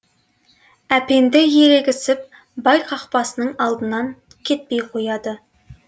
әпенді ерегісіп бай қақпасының алдынан кетпей қояды